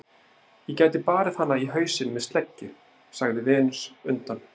Ég gæti barið hana í hausinn með sleggju, sagði Venus undan